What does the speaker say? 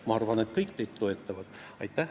Ma arvan, et kõik toetavad teid.